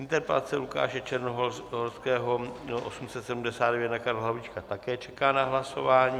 Interpelace Lukáše Černohorského 879 na Karla Havlíčka také čeká na hlasování.